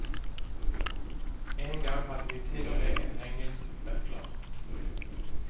En gang hadde vi til og med en engelsk butler.